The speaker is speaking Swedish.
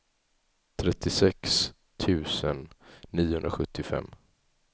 trettiosex tusen niohundrasjuttiofem